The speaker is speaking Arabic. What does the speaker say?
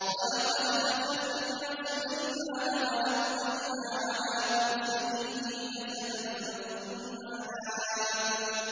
وَلَقَدْ فَتَنَّا سُلَيْمَانَ وَأَلْقَيْنَا عَلَىٰ كُرْسِيِّهِ جَسَدًا ثُمَّ أَنَابَ